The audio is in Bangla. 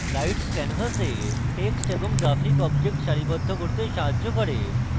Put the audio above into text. guides canvas text এবং graphic objects সারিবদ্ধ করতে সাহায্য করে